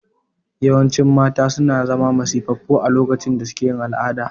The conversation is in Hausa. Yawancin mata suna zama masifaffu a lokacin da suke yin al'ada